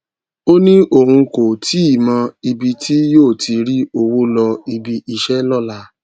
ó ní òun kò tíì mọ ibi tí yóò ti rí owó lọ ibi iṣẹ lóla